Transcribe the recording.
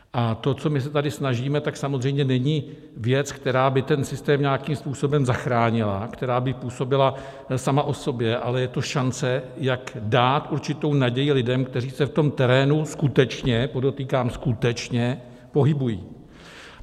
A to, co my se tady snažíme, tak samozřejmě není věc, která by ten systém nějakým způsobem zachránila, která by působila sama o sobě, ale je to šance, jak dát určitou naději lidem, kteří se v tom terénu skutečně - podotýkám skutečně - pohybují.